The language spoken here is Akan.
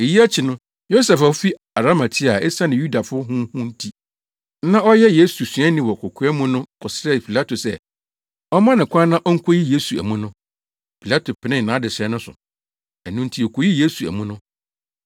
Eyi akyi no, Yosef a ofi Arimatea a esiane Yudafo ho hu nti, na ɔyɛ Yesu suani wɔ kokoa mu no kɔsrɛɛ Pilato sɛ ɔmma no kwan na onkoyi Yesu amu no. Pilato penee nʼadesrɛ no so. Ɛno nti okoyii Yesu amu no.